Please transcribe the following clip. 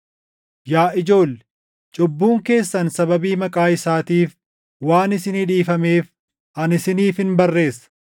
Yaa ijoolle, cubbuun keessan sababii maqaa isaatiif waan isinii dhiifameef ani isiniifin barreessa.